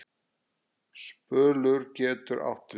Spölur getur átt við